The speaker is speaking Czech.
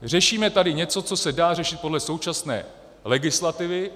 Řešíme tady něco, co se dá řešit podle současné legislativy.